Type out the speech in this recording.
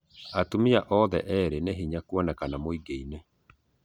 Atũmia othe eerĩ nĩ hĩnya kũonekana mũingĩ- ĩnĩ